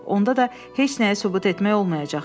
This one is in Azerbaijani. Onda da heç nəyi sübut etmək olmayacaq.